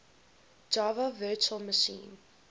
java virtual machine